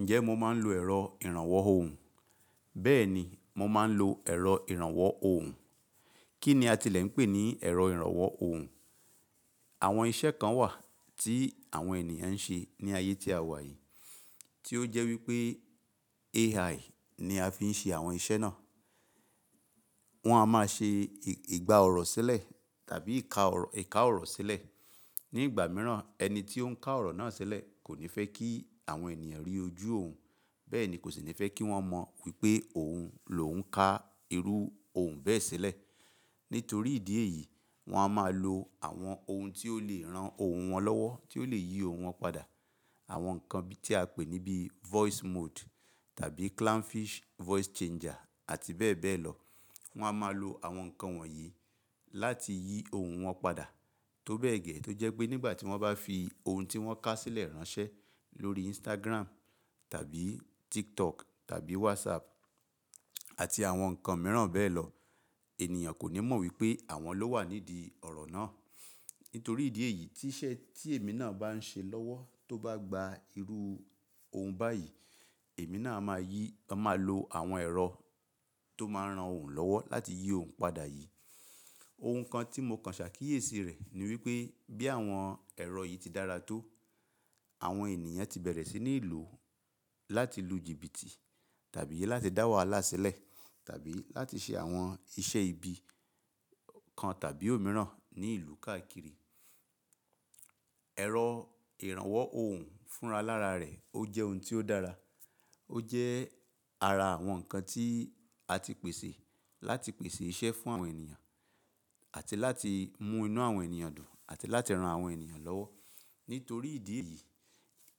Ǹjẹ́ mo máa ń lo ẹ̀rọ ìrànwọ́ ohùn? Bẹ́ẹ̀ni, mo máa ń lo ẹ̀rọ ìrànwọ́ ohùn. Kí ni a ti lè ń pè ní ẹ̀rọ ìrànwọ́ ohùn? Àwọn iṣẹ́ kan wà tí àwọn ènìyàn ń ṣe ní ayé tí a wà yìí, tí ó jẹ́ wípé AI ni a fi ń ṣe àwọn iṣẹ́ náà. Wọ́n a máa ṣe ìgbà ọ̀rọ̀ sílẹ̀ tàbí ìka ọ̀rọ̀ sílẹ̀. Ni ìgbà mìíràn ẹni tí ó ń ka ọ̀rọ̀ náà sílẹ̀ kò ní fẹ́ kí àwọn ènìyàn rí ojú òun. Bẹ́ẹ̀ ni kò sì ní fẹ́ kí wọ́n mọ wípé òun ló ń ka irú ohùn bẹ́ẹ̀ sílẹ̀. Nítorí ìdí èyí, wọ́n a máa lo àwọn ohun tí ó lè ran ohùn wọn lọ́wọ́, tí ó lè yí ohùn wọn padà. Àwọn nǹkan tí a pè ní bí voice mode tàbí clownfish voice changer àti bẹ́ẹ̀ bẹ́ẹ̀ lọ. Wọ́n a máa lo àwọn nǹkan wọ̀nyí láti yí ohùn wọn padà. Tó bẹ́ẹ̀ gẹ́ tó jẹ́ pé nígbà tí wọ́n bá fi ohun tí wọ́n ká sílẹ̀ ránṣẹ́ lórí Instagram tàbí TikTok tàbí WhatsApp àti àwọn nǹkan mìíràn bẹ́ẹ̀ lọ, ènìyàn kò ní mọ̀ wípé àwọn ló wà nídìí ọ̀rọ̀ náà. Nítorí ìdí èyí tí iṣẹ́ tí èmi náà bá ń ṣe lọ́wọ́ tó bá gba irú ohùn báyìí, èmi náà máa yí, máa lo àwọn ẹ̀rọ tó máa ń ran òun lọ́wọ́ láti yí ohùn padà yìí. Ohun kan tí mo kàn ṣà kíyèsi rẹ̀ ni wípé bí àwọn ẹ̀rọ yìí ti dára tó, àwọn ènìyàn ti bẹ̀rẹ̀ sí ní lò ó láti lu jìbìtì tàbí láti dá wahalá sílẹ̀ tàbí láti ṣe àwọn iṣẹ́ ibi kan tàbí òmíràn ní ìlú káàkiri. Ẹ̀rọ ìrànwọ́ ohùn fúnra lára rẹ̀ ó jẹ́ ohun tí ó dára. Ó jẹ́ ara àwọn nǹkan tí a ti pèsè láti pèsè iṣẹ́ fún àwọn ènìyàn àti láti mú inú àwọn ènìyàn dùn àti láti ran àwọn ènìyàn lọ́wọ́. Nítorí ìdí èyí,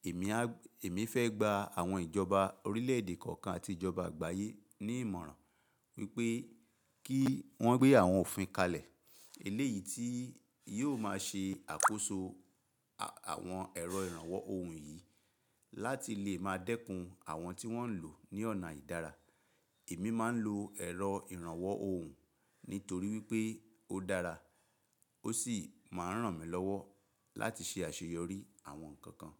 èmi á, èmi fẹ́ gba àwọn ìjọba orílẹ̀ èdè kọ̀ọ̀kan àti ìjọba àgbáyé ní ìmọ̀ràn wípé kí wọ́n gbé àwọn òfin kalẹ̀ eléyìí tí yóò máa ṣe àkóso àwọn ẹ̀rọ ìrànwọ́ ohùn yìí láti lè máa dẹ́kun àwọn tí wọ́n ń lò ó ní ọ̀nà ìdára. Èmi máa ń lo ẹ̀rọ ìrànwọ́ ohùn nítorí wípé ó dára ó sì máa ń ràn mí lọ́wọ́ láti ṣe àṣeyọrí àwọn nǹkan kan.